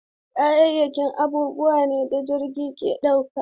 Kayayyaki abubuwa ne da jirgi ke ɗauka.